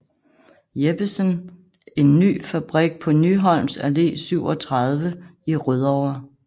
Jeppesen en ny fabrik på Nyholms Allé 37 i Rødovre